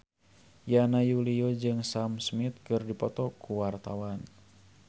Yana Julio jeung Sam Smith keur dipoto ku wartawan